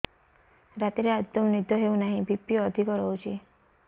ରାତିରେ ଆଦୌ ନିଦ ହେଉ ନାହିଁ ବି.ପି ଅଧିକ ରହୁଛି